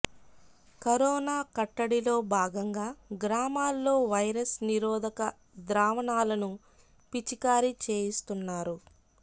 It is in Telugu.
కరోనా కట్టడిలో భాగంగా గ్రామాల్లో వైరస్ నిరోధక ద్రావణాలను పిచికారీ చేయిస్తున్నారు